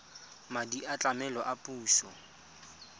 madi a tlamelo a puso